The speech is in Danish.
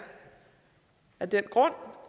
af den grund